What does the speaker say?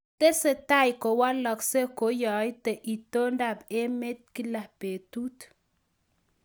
tesetai ko walaksei ko yaito itonda ab emet kila betut